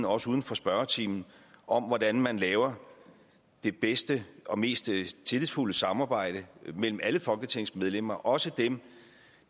også uden for spørgetimen om hvordan man laver det bedste og mest tillidsfulde samarbejde mellem alle folketingsmedlemmer også dem